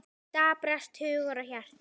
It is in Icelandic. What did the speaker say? Daprast hugur og hjarta.